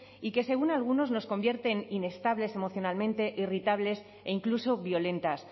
y que según algunos nos convierte en inestables emocionalmente irritables e incluso violentas